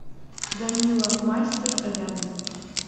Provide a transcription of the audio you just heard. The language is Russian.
данила мастер рядом